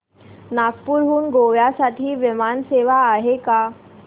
नागपूर हून गोव्या साठी विमान सेवा आहे का